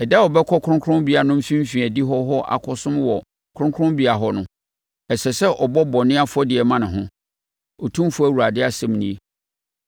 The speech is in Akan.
Ɛda a ɔbɛkɔ kronkronbea no mfimfini adihɔ hɔ akɔsom wɔ kronkronbea hɔ no, ɛsɛ sɛ ɔbɔ bɔne afɔdeɛ ma ne ho, Otumfoɔ Awurade asɛm nie.